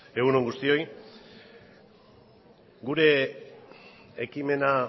egun on guztioi gure ekimena